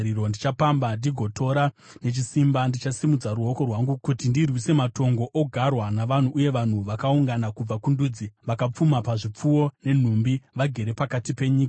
Ndichapamba ndigotora nechisimba, ndichasimudza ruoko rwangu kuti ndirwise matongo ogarwa navanhu uye vanhu vakaungana kubva kundudzi vakapfuma pazvipfuwo nenhumbi, vagere pakati penyika.”